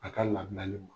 A ka labilali ma